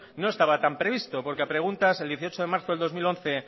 no estaba tan previsto porque a preguntas el dieciocho de marzo del dos mil once